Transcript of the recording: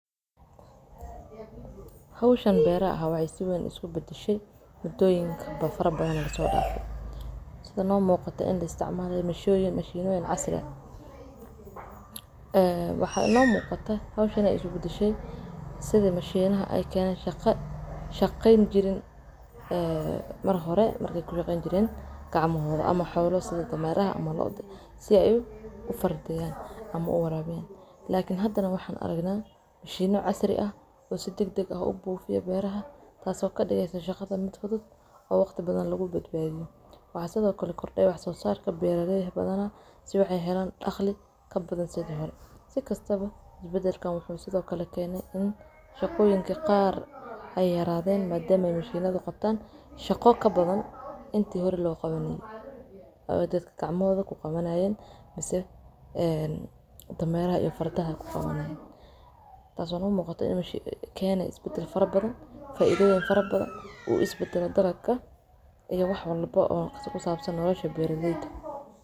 Howsha beeraha waa hawl muhiim ah oo saldhig u ah nolosha aadanaha, gaar ahaan dhinaca cunnada iyo dhaqaalaha. Waxay ka koobantahay dhammaan tallaabooyinka la xiriira soo saarista dalagyada iyo daryeelka xoolaha. Tani waxay ka bilaabataa diyaarinta dhulka, abuurka ama beero beedka, waraabinta, bacriminta, ka hortagga cayayaanka iyo cudurrada, ilaa goosashada iyo kaydinta dalagga. Sidoo kale, beeraha xoolaha waxaa ka mid ah quudinta, daryeelka caafimaadka, iyo taranka xoolaha.